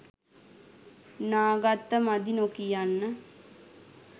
නා ගත්ත මදි නොකියන්න.